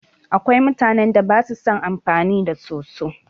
Akwai mutanan da basu son amfani da soso